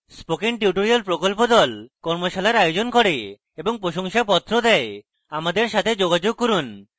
spoken tutorial প্রকল্প the কর্মশালার আয়োজন করে এবং প্রশংসাপত্র the আমাদের সাথে যোগাযোগ করুন